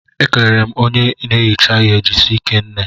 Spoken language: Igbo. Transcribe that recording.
M kelere onye na ehicha ihe Jisike nne